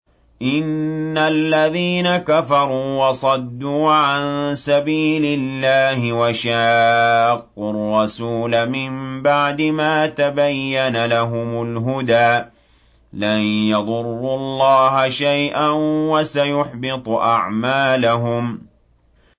إِنَّ الَّذِينَ كَفَرُوا وَصَدُّوا عَن سَبِيلِ اللَّهِ وَشَاقُّوا الرَّسُولَ مِن بَعْدِ مَا تَبَيَّنَ لَهُمُ الْهُدَىٰ لَن يَضُرُّوا اللَّهَ شَيْئًا وَسَيُحْبِطُ أَعْمَالَهُمْ